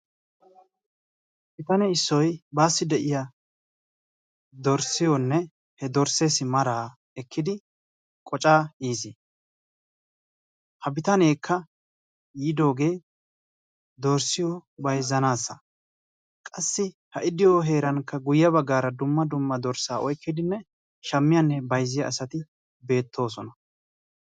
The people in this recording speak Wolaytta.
bitane issoy baassi de'iya dorssiyoonne he dorsseessi de'iya maraa ekkidi qocaa yis. ha bitaneekka yiidooge dorssiyo bayizzanaassa. qassi he dorssee heerankka dumma dumma dorssaa oyikkidi shammiyaanne bayizziya asati beettoosona,